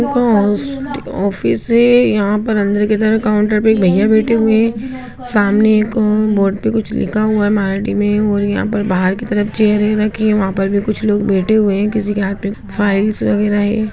एक ओस एक ऑफिस है यहाँ पर अंदर के तरफ काउंटर पे एक भैया बैठे हुए है सामने एक अ बोर्ड पे कुछ लिखा हुआ है मराठी में और यहाँ पर बाहर की तरफ चेयरे रखी है वहाँ पर भी कुछ लोग बैठे हुए हैं किसी के हाथ पे कुछ फाइल्स वगैरा हैं।